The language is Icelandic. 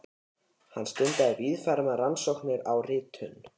Hann stundaði víðfeðmar rannsóknir á ritun